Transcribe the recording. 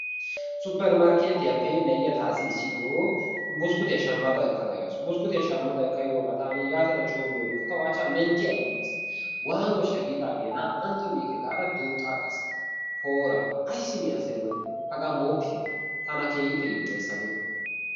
Supper markkettiyaappe na'iya taassi iissittoo buskuttiya shamada ekada yaasu. Buskuttiya shamada ehoogaa taani yaatada coommiyorinkka tawu achchaa mentti agiis. Waanooshsha giidaagee na'antto miikke gaada duuxxa agaas, poora ayssi mii asay woni hagaa mooppitte tana keehiippe yiloyees hagee.